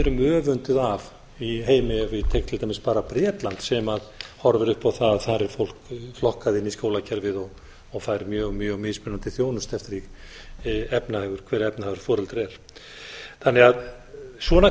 erum öfunduð af í heimi ef ég tek til dæmis bara bretland sem horfir upp á það að þar er fólk flokkað inn í skólakerfið og fær mjög mismunandi þjónustu eftir því hver efnahagur foreldra er þannig að svona